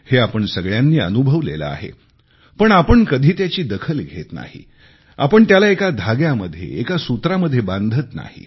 हे आपण सगळ्यांनी अनुभवलेले आहे पण आपण कधी त्याची दखल घेत नाही आपण त्याला एका धाग्यामध्ये एका सूत्रामध्ये बांधत नाही